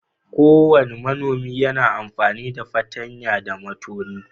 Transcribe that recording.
Kowane manomi yana amfani da fartanya da matoni.